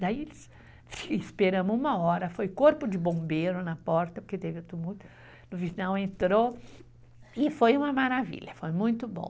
Daí, esperamos uma hora, foi corpo de bombeiro na porta, porque teve um tumulto, no final entrou e foi uma maravilha, foi muito bom.